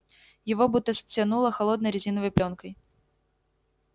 его будто стянуло холодной резиновой плёнкой